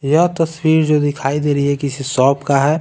यह तस्वीर जो दिखाई दे रही हैकिसी शॉप का है।